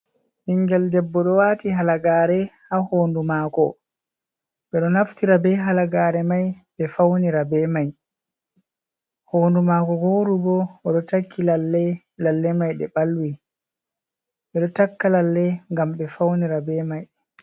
Ɓingel debbo ɗo waati halagaare ha hondu maako, ɓe ɗo naftira be halagaare mai ɓe fawnira be mai, hondu maako wooru bo o ɗo taki lalle, lalle mai ɗe ɓalwi, ɓe ɗo takka lalle ngam ɓe fawnira be mai.